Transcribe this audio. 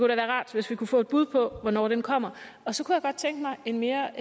da være rart hvis vi kunne få et bud på hvornår den kommer så kunne godt tænke mig en mere